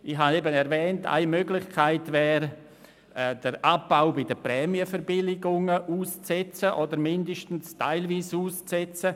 Ich habe soeben erwähnt, dass eine Möglichkeit wäre, den Abbau bei den Prämienverbilligungen auszusetzen oder mindestens teilweise auszusetzen.